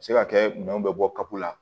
A bɛ se ka kɛ ɲɔ bɛ bɔ kabugu la